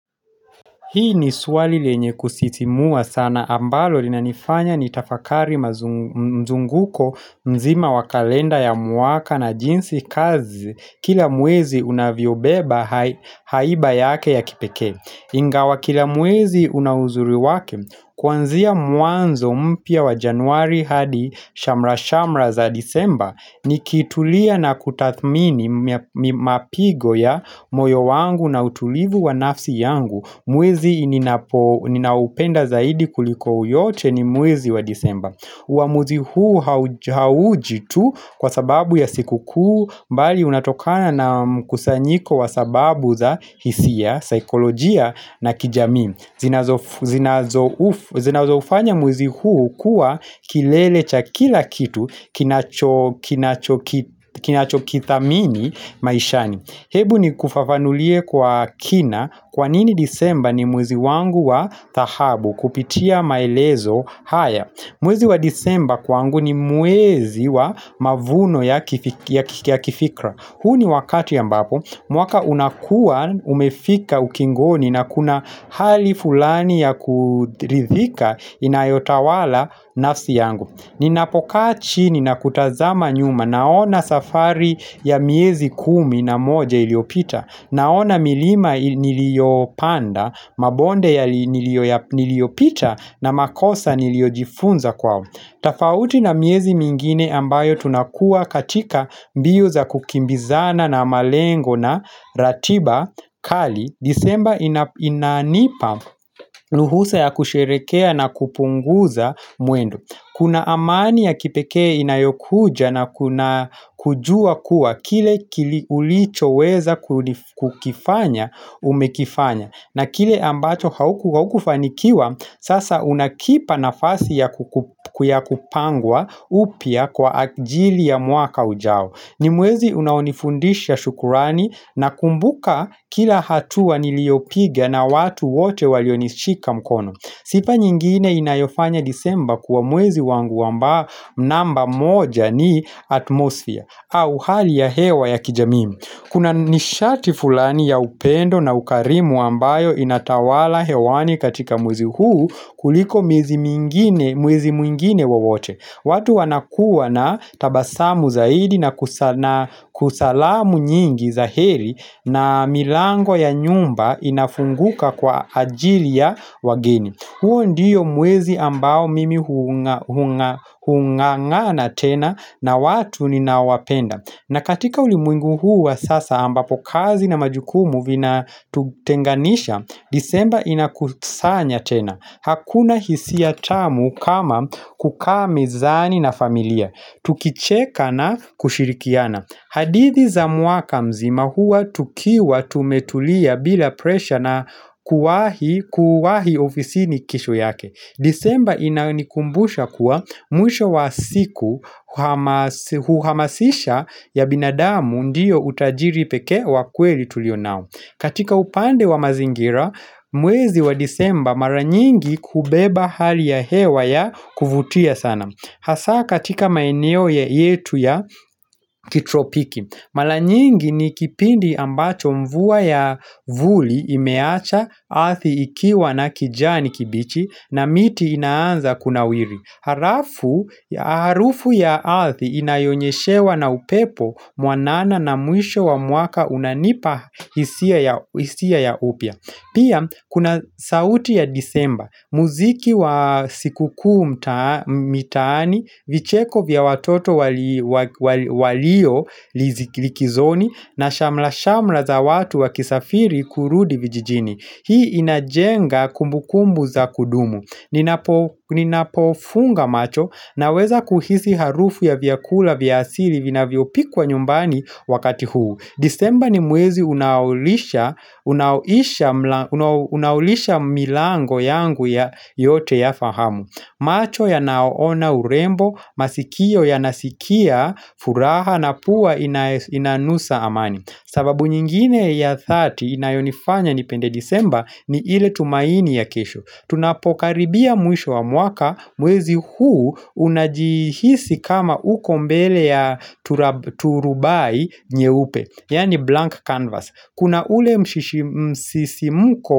Hili ni swali lenye kusisimua sana ambalo linanifanya nitafakari mzunguko mzima wa kalenda ya mwaka na jinsi kazi kila mwezi unavyobeba haiba yake ya kipekee. Ingawa kila mwezi una uzuri wake, kuanzia mwanzo mpya wa januari hadi shamrashamra za disemba nikitulia na kutathmini mapigo ya moyo wangu na utulivu wa nafsi yangu. Mwezi ninaoupenda zaidi kuliko yote ni mwezi wa disemba huwa mwezi huu hauji tu kwasababu ya sikukuu bali unatokana na mkusanyiko wa sababu za hisia, saikolojia na kijamii. Zinazofanya mwezi huu kuwa kilele cha kila kitu kinachokithamini maishani. Hebu nikufafanulie kwa kina kwanini disemba ni mwezi wangu wa dhahabu kupitia maelezo haya. Mwezi wa disemba kwangu ni mwezi wa mavuno ya kifikra. Huu ni wakati ambapo mwaka unakuwa umefika ukingoni na kuna hali fulani ya kuridhika inayotawala nafsi yangu. Ninapokaa chini na kutazama nyuma naona safari ya miezi kumi na moja iliyopita Naona milima niliyopanda, mabonde niliyopita na makosa niliyojifunza kwao. Tofauti na miezi mingine ambayo tunakuwa katika mbio za kukimbizana na malengo na ratiba kali, disemba inanipa ruhusa ya kusherehekea na kupunguza mwendo. Kuna amani ya kipekee inayokuja na kujua kuwa kile ulichoweza kukifanya umekifanya na kile ambacho haukufanikiwa sasa unakipa nafasi ya kupangwa upya kwaajili ya mwaka ujao. Ni mwezi unaonifundisha shukrani, nakumbuka kila hatua niliopiga na watu wote walionishika mkono Sifa nyingine inayofanya disemba kuwa mwezi wangu namba moja ni atmosfia au hali ya hewa ya kijamii. Kuna nishati fulani ya upendo na ukarimu ambayo inatawala hewani katika mwezi huu kuliko mwezi mwingine wowote. Watu wanakuwa na tabasamu zaidi na kutoa salamu nyingi za heri na milango ya nyumba inafunguka kwa ajili ya wageni. Huo ndiyo mwezi ambao mimi hung'ang'ana tena na watu ninawapenda. Na katika ulimwengu huu wa sasa ambapo kazi na majukumu vinatutenganisha, Disemba inatukusanya tena Hakuna hisia tamu kama kukaa mezani na familia, tukicheka na kushirikiana. Hadithi za mwaka mzima huwa tukiwa tumetulia bila presha na kuwahi ofisini kesho yake. Disemba inanikumbusha kuwa mwisho wa siku huhamasisha ya binadamu ndiyo utajiri pekee wa kweli tulio nao. Katika upande wa mazingira, mwezi wa disemba mara nyingi hubeba hali ya hewa ya kuvutia sana. Hasa katika maeneo yetu ya kitropiki. Mara nyingi ni kipindi ambacho mvua ya vuli imeacha ardhi ikiwa na kijani kibichi na miti inaanza kunawiri. Harufu ya ardhi inayonyeshewa na upepo mwanana na mwisho wa mwaka unanipa hisia ya upya. Pia kuna sauti ya disemba, muziki wa sikukuu mtaani, vicheko vya watoto walio likizoni na shamra shamra za watu wakisafiri kurudi vijijini. Hii inajenga kumbukumbu za kudumu. Ninapofunga macho naweza kuhisi harufu ya vyakula vya asili vinavyopikwa nyumbani wakati huu. Disemba ni mwezi unaolisha milango yangu yote ya fahamu. Macho yanaona urembo, masikio yanasikia furaha na pua inanusa amani. Sababu nyingine ya dhati inayonifanya nipende disemba ni ile tumaini ya kesho. Tunapokaribia mwisho wa mwaka mwezi huu unajihisi kama uko mbele ya turubai nyeupe yaani "blank canvas" Kuna ule msisimko.